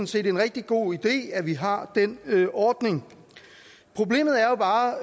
set en rigtig god idé at vi har den ordning problemet